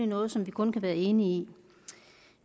noget som vi kun kan være enige